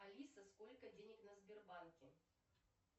алиса сколько денег на сбербанке